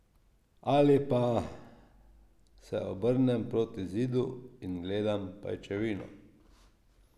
Ali pa se obrnem proti zidu in gledam pajčevino.